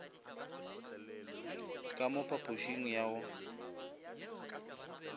ka mo phapošing ya go